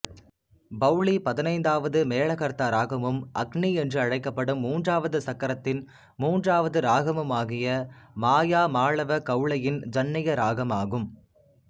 பௌளி பதினைந்தாவது மேளகர்த்தா இராகமும் அக்னி என்று அழைக்கப்படும் மூன்றாவது சக்கரத்தின் மூன்றாவது இராகமுமாகிய மாயாமாளவகௌளையின் ஜன்னிய இராகம் ஆகும்